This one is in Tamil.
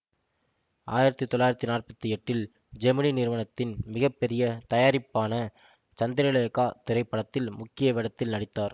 ஆயிரத்தி தொள்ளாயிரத்தி நாற்பத்தி எட்டில் ஜெமினி நிறுவனத்தின் மிக பெரிய தயாரிப்பான சந்திரலேகா திரைப்படத்தில் முக்கிய வேடத்தில் நடித்தார்